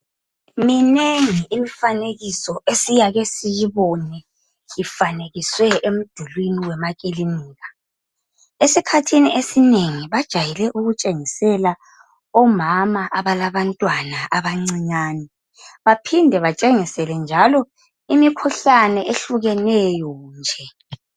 Minengi imfanekiso esiyake siyibone ifanekiswe emdulwini wemakilinika esikhathini esinengi bajayele ukutshengisela omama abalabantwana abancane baphinde njalo batshengisele njalo imikhuhlane ehlukeneyo nje.